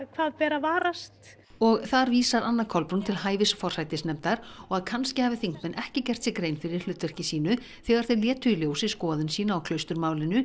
hvað ber að varast og þar vísar Anna Kolbrún til hæfis forsætisnefndar og að kannski hafi þingmenn ekki gert sér grein fyrir hlutverki sínu þegar þeir létu í ljósi skoðun sína á